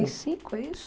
e cinco, é isso